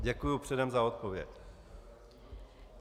Děkuji předem za odpověď.